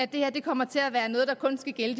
det her kommer til at være noget der kun skal gælde